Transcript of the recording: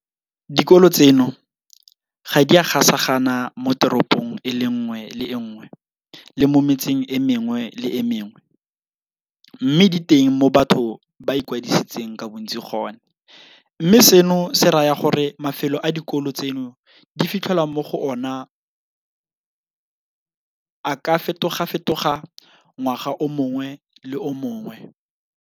Dikolo tseno ga di a gasagana moteropong e nngwe le e nngwe le mo metseng e mengwe le e mengwe, mme di teng mo batho ba ikwadisitseng ka bontsi gone, mme seno se raya gore mafelo a dikolo tseno di fitlhelwang mo go ona a ka fetogafetoga ngwaga o mongwe le o mongwe.